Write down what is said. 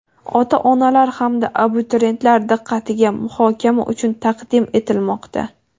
ota-onalar hamda abituriyentlar diqqatiga muhokama uchun taqdim etilmoqda:.